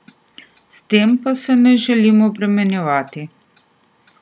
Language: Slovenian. S tem pa se ne želim obremenjevati.